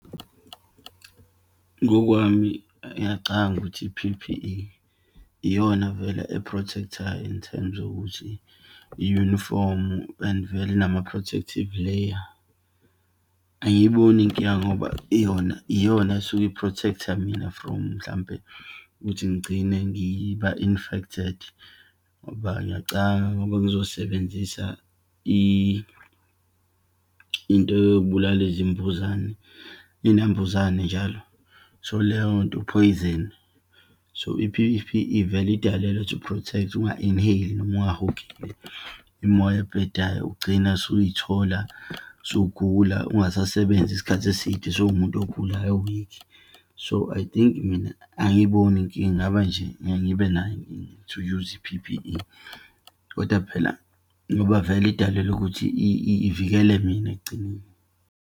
Ngokwami ngiyacabanga ukuthi i-P_P_E, iyona vele e-protect-ayo in terms yokuthi i-unifomu and vele inama-protective layer. Angiyiboni inkinga ngoba yona, iyona esuke i-protect-a mina from mhlampe ukuthi ngigcine ngiba infected, ngoba ngiyacanga ngoba ngizosebenzisa into yokubulala izimbuzane, iyinambuzane njalo, so, leyo nto u-poison. So, i_P_P_E vele, idalelwe to protect, unga-inhale-i noma ungahogeli imimoya ebhedayo, ugcina usuyithola usugula, ungasasebenzi isikhathi eside, sowumuntu ogulayo, o-weak. So, I think mina, angiyiboni inkinga, ingaba nje mina ngibe nayo, to use i-P_P_E. Kodwa phela ngoba vele idalelwe ukuthi ivikele mina ekugcineni.